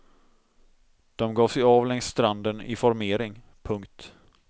De gav sig av längs stranden i formering. punkt